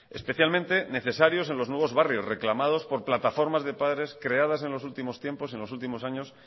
especialmente necesarios en los nuevos barrios reclamados por plataformas de padres creadas en los últimos tiempos en los últimos años